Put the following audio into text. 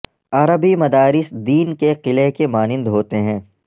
عربی مدارس دین کے قلعہ کی مانند ہوتے ہیں